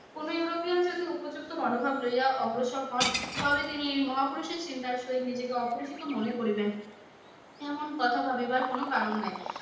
কোনো ইউরোপিয়ান যদি উপযুক্ত মনোভাব লইয়া অগ্রসর হন তবে তিনি এই মহাপুরুষের চিন্তার সহিত নিজেকে অপরিচিত মনে করিবেন, এমন কথা ভাবিবার কোন কারণ নাই।